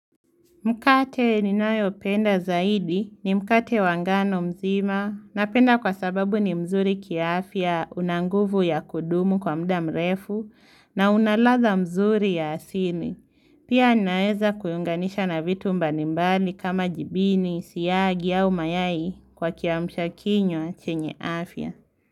Mkate ninayo penda zaidi ni mukate wangano mzima napenda kwa sababu ni mzuri kia afya una nguvu ya kudumu kwa mda mrefu na una ladha mzuri ya asini. Pia naeza kuyunganisha na vitu mbalimbali kama jibini, siyagi au mayai kwa kiamusha kinywa chenye afya.